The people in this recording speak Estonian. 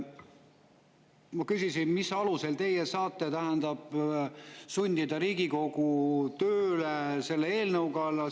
Ma küsisin, mis alusel teie saate sundida Riigikogu tööle selle eelnõu kallal.